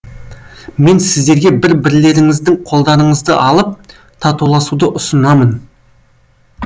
мен сіздерге бір бірлеріңіздің қолдарыңызды алып татуласуды ұсынамын